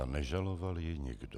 A nežaloval ji nikdo.